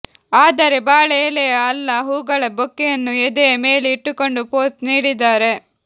ಆದರೆ ಬಾಳೆ ಎಲೆಯ ಅಲ್ಲ ಹೂಗಳ ಬೊಕ್ಕೆಯನ್ನು ಎದೆಯ ಮೇಲೆ ಇಟ್ಟುಕೊಂಡು ಪೋಸ್ ನೀಡಿದ್ದಾರೆ